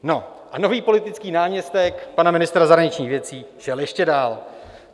No a nový politický náměstek pana ministra zahraničních věcí šel ještě dál.